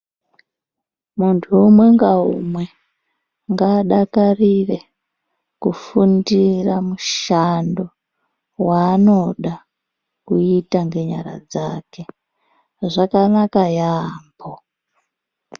Muntu umwe ngaumwe ngaadakarire kufundira mushando waanoda kuita ngenyara dzake. Zvakanaka yaamho.